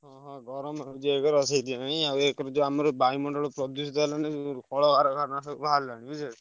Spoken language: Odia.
ଓହୋ। ଗରମ ହଉଛି ଜବର ସେଇଥିପାଇଁ ଆଉ ଏକରେ ଯୋଉ ଆମର ବାୟୁମଣ୍ଡଳ ପ୍ରଦୂଷିତ ହେଲାଣି କଳକାରଖାନା ସବୁ ବାହାରିଲାଣି ବୁଝିପାରୁଛ।